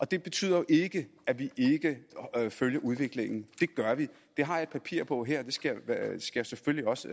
det betyder jo ikke at vi ikke følger udviklingen det gør vi det har jeg et papir på her og det skal jeg selvfølgelig også